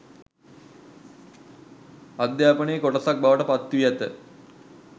අධ්‍යාපනයේ කොටසක් බවට පත්වී ඇත.